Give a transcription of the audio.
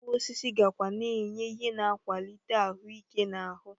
Mkpụrụosisi gakwa na-enye ihe n'akwalite ahụ ike n'ahụ